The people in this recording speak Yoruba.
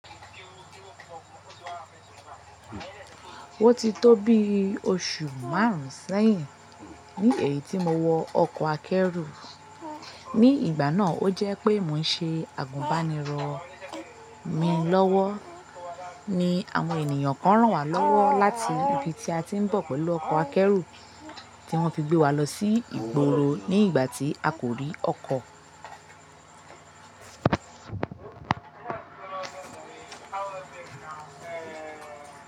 Ó ti tó bi oṣù márùn sẹ́yìn ní èyí tí mo wọ ọkọ̀ akẹ́rù. Ni ìgbà náà o jẹ́ pé mò ń ṣe àgùnbánirọ̀ mi lọ́wọ́ ni àwọn ènìyàn kan ràn wá lọ́wọ́ láti ibi tí a ti ń bọ̀ pẹ̀lú ọkọ̀ akẹ́rù tí wọ́n fi gbé wa lọ sí ìgboro ní ìgbà tí a kò rí ọkọ̀.